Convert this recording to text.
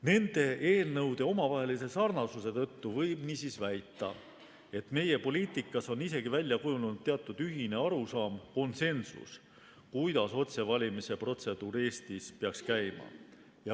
Nende eelnõude sarnasuse tõttu võib väita, et meie poliitikas on isegi välja kujunenud teatud ühine arusaam, konsensus, kuidas otsevalimise protseduur Eestis peaks käima.